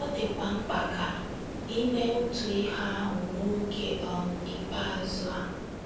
Ọ dịkwa mkpa ka i mee otu ihe ahụ “ n’oge um ikpeazụ ” a.